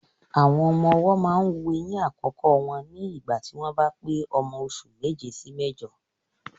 Àwọn ọmọ ọwọ́ máa ń wu eyín àkọ́kọ́ wọn ní ìgbà tí wọ́n bá pé ọmọ oṣù méje sí méjọ.